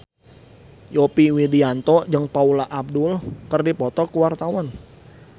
Yovie Widianto jeung Paula Abdul keur dipoto ku wartawan